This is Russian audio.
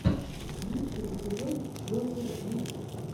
лучший эпизод гофер вид